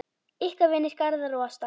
Ykkar vinir, Garðar og Ásta.